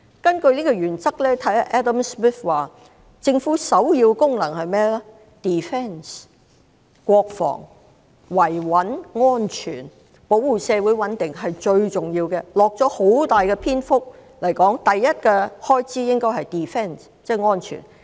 根據這個原則 ，Adam SMITH 認為政府首要的功能是國防，即是維穩、安全、保護社會穩定，這是最重要的，他用了很大篇幅指出首要的開支應該是安全。